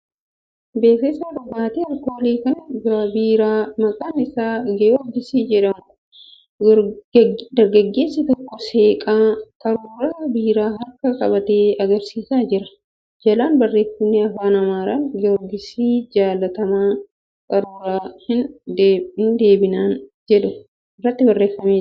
Beeksisa dhugaatii alkoolii kan biiraa maqaan isaa giyoorgis jedhamuti. Dargaggeessi tokko seeqaa qaruura biiraa harkaan qabatee agarsiisaa jira. Jalaan barreeffamni Afaan Amaaraan 'Giyoorgis jaalatamaa qaruura hin deebineen ' jedhu irratti barreeffameera.